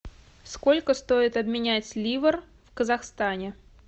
сколько стоит обменять ливр в казахстане